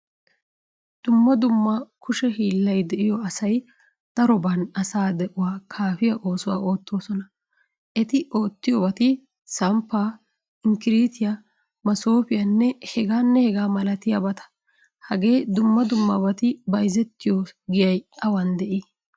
Dumma dumma kushe hiillay de'iyo asay daroban asa de'uwaa kaafiyaa oosuwaa oottosona. Etti oottiyobati samppa, inkiritiya, masofiyanne hegaanne hegaa milatiyabata. Hagee dumma dummabati bayzzetiyo giyay awan de'i?